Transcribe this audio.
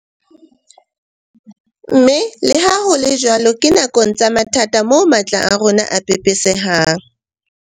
Mme leha ho le jwalo ke nakong tsa mathata moo matla a rona a pepesehang.